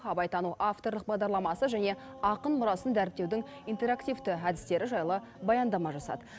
абайтану авторлық бағдарламасы және ақын мұрасын дәріптеудің интерактивті әдістері жайлы баяндама жасады